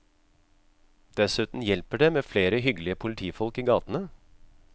Dessuten hjelper det med flere hyggelige politifolk i gatene.